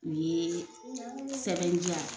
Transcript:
U ye sɛbɛn di yan